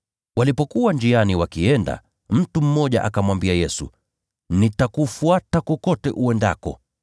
Walipokuwa njiani wakienda, mtu mmoja akamwambia Yesu, “Nitakufuata kokote uendako.”